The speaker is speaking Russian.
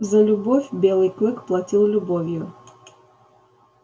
за любовь белый клык платил любовью